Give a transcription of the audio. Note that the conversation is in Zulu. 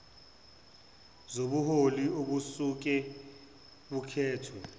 zobuholi obusuke bukhethwe